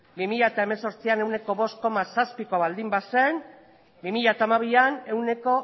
bi mila zortzian ehuneko bost koma zazpikoa baldin bazen bi mila hamabian ehuneko